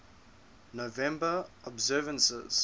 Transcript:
november observances